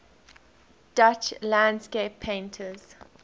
dutch landscape painters